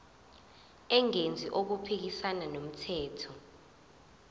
engenzi okuphikisana nomthetho